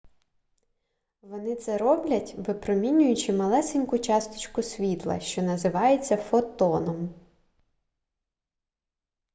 вони це роблять випромінюючи малесеньку часточку світла що називається фотоном